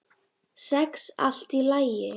Sex allt í lagi.